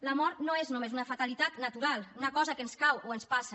la mort no és només una fatalitat natural una cosa que ens cau o ens passa